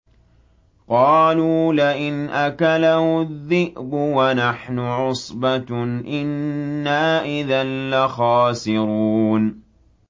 قَالُوا لَئِنْ أَكَلَهُ الذِّئْبُ وَنَحْنُ عُصْبَةٌ إِنَّا إِذًا لَّخَاسِرُونَ